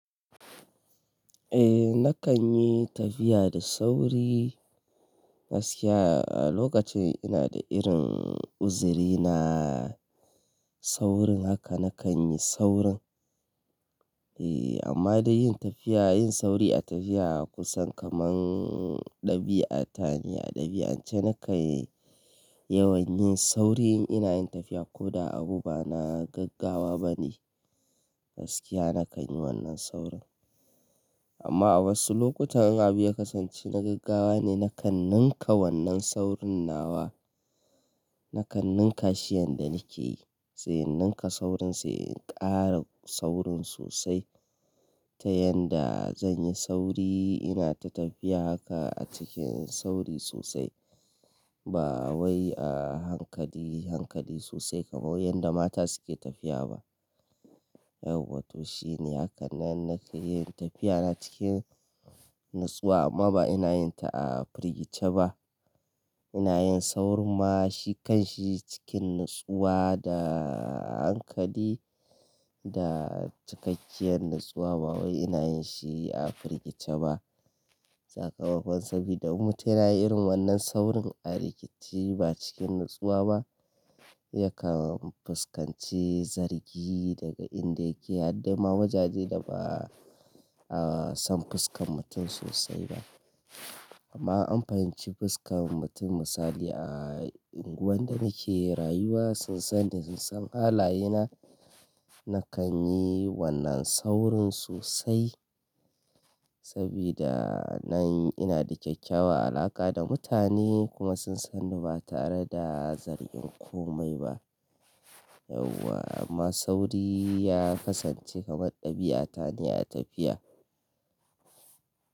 Eh nakan yi tafiya da sauri gaskiya a lokacin ina da irin uziri na saurin haka nakan yi saurin. Eeh amma da yin tafiya yin sauri a tafiya kusan kaman ɗabi'a ta ne. A ɗabi'ance nakan yawan yin sauri in ina yin tafiya ko da abu ba na gaggawa bane gaskiya nakan yi wannan saurin. Amma a wasu lokutan in abu ya kasance na gaggawa ne nakan ninka wannan saurin nawa. Nakan ninka shi yan da nake yi, sai in ninka saurin sai in kara saurin sosai ta yanda zan yi sauri ina ta tafiya haka a cikin sauri sosai. Ba wai a hankali, hankali sosai kamar yadda mata suke tafiya ba. Yauwa to shi ne hakan nan nake yin tafiya na cikin nutsuwa amma ba ina yin ta a firgice ba. Ina yin saurin ma shi kan shi cikin nutsuwa da hankali da cikakkiyar nutsuwa ba wai ina yin shi a firgice ba. Sakamakon saboda mutum yana yin wannan saurin a rikice ba cikin nutsuwa ba yakan fuskanci zargi daga inda yake har dai ma wajaje da ba, aah, son fuskan mutum sosai ba. Amma an fahimci fuskan mutum misali a unguwan da nake rayuwa sun sani sun san halaye na nakan yi wannan saurin sosai saboda nan ina da kyakkyawan alaka da mutane kuma sun sani ba tare da zargin komai ba. Yauwa amma sauri ya kasance kamar ɗabi'a ta ne a tafiya.